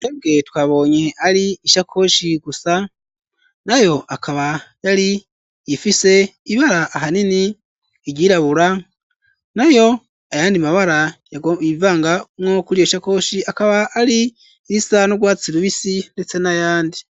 Twebwe twabonye ari ishakoshi gusa, nayo akaba yari ifise ibara ahanini iryirabura, nayo ayandi mabara yivangamwo kuri iyi shakoshi akaba ari irisa n'urwatsi rubisi ndetse n'ayandi.